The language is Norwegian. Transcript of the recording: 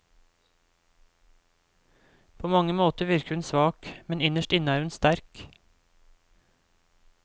På mange måter virker hun svak, men innerst inne er hun sterk.